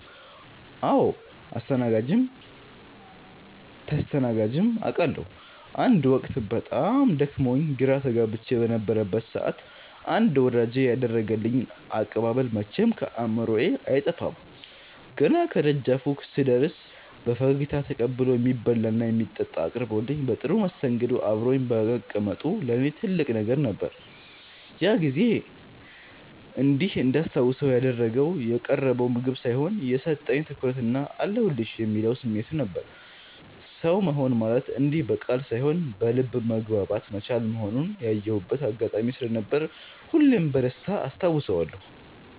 አዎ አስተናግጀም ተስተናግጀም አቃለሁ። አንድ ወቅት በጣም ደክሞኝና ግራ ተጋብቼ በነበረበት ሰዓት አንድ ወዳጄ ያደረገልኝ አቀባበል መቼም ከአእምሮዬ አይጠፋም። ገና ከደጃፉ ስደርስ በፈገግታ ተቀብሎ፣ የሚበላና የሚጠጣ አቅርቦልኝ በጥሩ መስተንግዶ አብሮኝ መቀመጡ ለእኔ ትልቅ ነገር ነበር። ያ ጊዜ እንዲህ እንዳስታውሰው ያደረገው የቀረበው ምግብ ሳይሆን፣ የሰጠኝ ትኩረትና "አለሁልሽ" የሚለው ስሜቱ ነበር። ሰው መሆን ማለት እንዲህ በቃል ሳይሆን በልብ መግባባት መቻል መሆኑን ያየሁበት አጋጣሚ ስለነበር ሁሌም በደስታ አስታውሰዋለሁ።